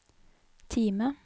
Time